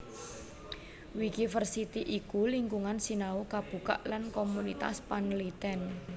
Wikiversity iku lingkungan sinau kabukak lan komunitas panlitèn